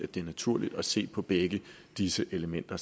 det er naturligt at se samlet på begge disse elementer